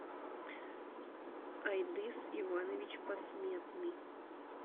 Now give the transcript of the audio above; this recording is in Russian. айдыс иванович посметный